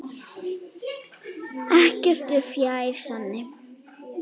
Ekkert er fjær sanni.